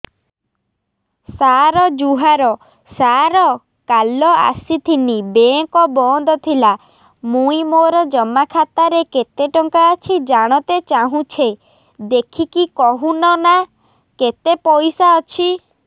ସାର ଜୁହାର ସାର କାଲ ଆସିଥିନି ବେଙ୍କ ବନ୍ଦ ଥିଲା ମୁଇଁ ମୋର ଜମା ଖାତାରେ କେତେ ଟଙ୍କା ଅଛି ଜାଣତେ ଚାହୁଁଛେ ଦେଖିକି କହୁନ ନା କେତ ପଇସା ଅଛି